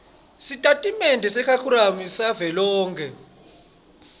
sitatimende sekharikhulamu savelonkhe